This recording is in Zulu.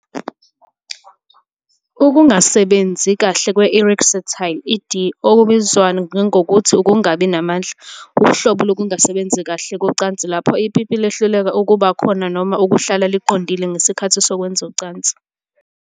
Ukungasebenzi kahle kwe-Erectile, ED, okubizwa nangokuthi ukungabi namandla, wuhlobo lokungasebenzi kahle kocansi lapho ipipi lihluleka ukuba khona noma ukuhlala liqondile ngesikhathi sokwenza ucansi.